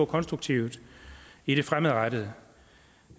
konstruktivt i det fremadrettet